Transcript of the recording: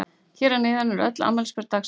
Hér að neðan eru öll afmælisbörn dagsins.